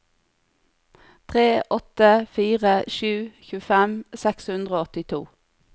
tre åtte fire sju tjuefem seks hundre og åttito